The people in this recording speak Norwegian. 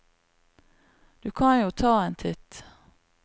Du kan jo ta en titt.